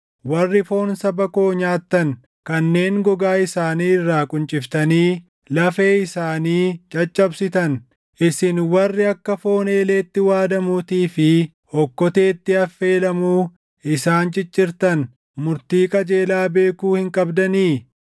warri foon saba koo nyaattan, kanneen gogaa isaanii irraa qunciftanii // lafee isaanii caccabsitan, isin warri akka foon eeleetti waadamuutii fi okkoteetti affeelamuu isaan ciccirtan murtii qajeelaa beekuu hin qabdanii?”